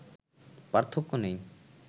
পার্থক্য নেই